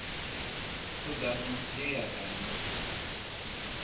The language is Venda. khudano ye ya da na